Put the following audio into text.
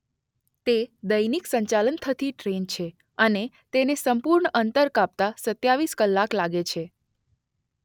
તે દૈનિક સંચાલન થતી ટ્રેન છે અને તેને સંપૂર્ણ અંતર કાપતાં સત્યાવિશ કલાક લાગે છે.